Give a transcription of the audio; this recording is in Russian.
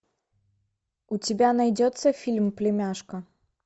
у тебя найдется фильм племяшка